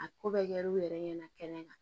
A ko bɛ kɛ l'u yɛrɛ ɲɛna kɛnɛ kan